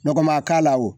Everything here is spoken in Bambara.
Nɔgɔma k'a la wo